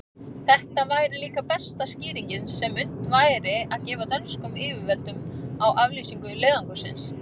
Þetta væri líka besta skýringin, sem unnt væri að gefa dönskum yfirvöldum á aflýsingu leiðangursins.